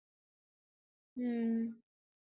உம்